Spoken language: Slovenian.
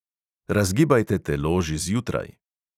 Razgibajte telo že zjutraj.